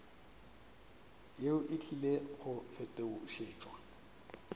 yeo e tlile go fetošetšwa